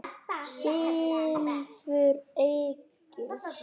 Silfur Egils